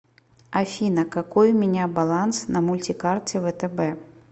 афина какой у меня баланс на мультикарте втб